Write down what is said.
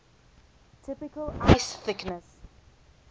typical ice thickness